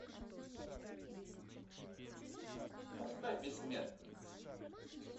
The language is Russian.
поставь бессмертник